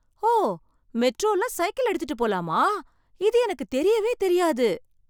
ஓ! மெட்ரோல சைக்கிள் எடுத்துட்டு போலாமா. இது எனக்கு தெரியவே தெரியாது.